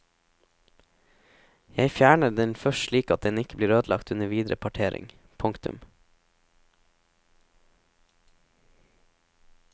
Jeg fjerner den først slik at den ikke blir ødelagt under videre partering. punktum